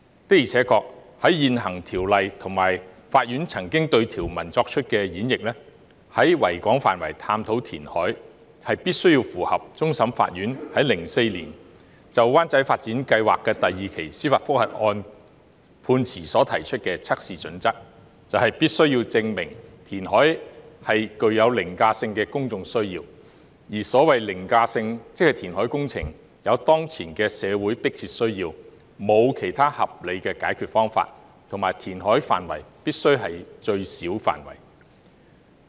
的而且確，根據現行《條例》及法院曾經對條文作出的演譯，在維多利亞港範圍探討填海，必須符合終審法院在2004年就灣仔發展計劃第二期的司法覆核案判詞所提出的測試準則，即必須證明填海具有凌駕性的公眾需要，而所謂凌駕性，即填海工程有當前的社會迫切需要，沒有其他合理的解決方法，以及填海範圍必須是最小的範圍。